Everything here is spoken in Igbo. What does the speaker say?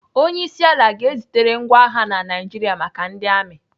Onyeisiala ga-ezitere ngwa agha na Naijiria maka ndị amị.